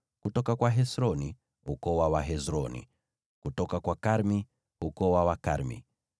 kutoka kwa Hesroni, ukoo wa Wahesroni; kutoka kwa Karmi, ukoo wa Wakarmi.